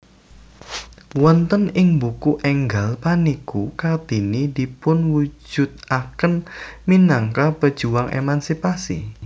Wonten ing buku énggal punika Kartini dipunwujudaken minangka pejuang emansipasi